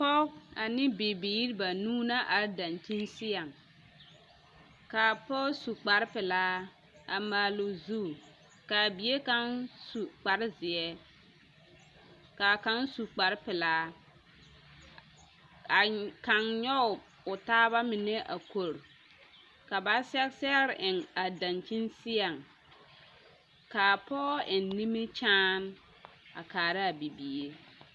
Pɔge ane bibiiri banuu na are dankyini seɛŋ k'a pɔge su kpare pelaa a maale o zu k'a bie kaŋ su kpare zeɛ k'a kaŋ zu kpare pelaa a kaŋ nyɔge o taaba mine a kɔre ka ba sɛge sɛgere eŋ a dankyini seɛŋ k'a pɔgɔ eŋ nimikyaane a kaaraa bibiiri.